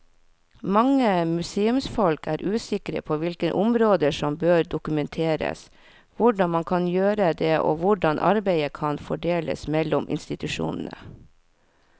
Mange museumsfolk er usikre på hvilke områder som bør dokumenteres, hvordan man kan gjøre det og hvordan arbeidet kan fordeles mellom institusjonene.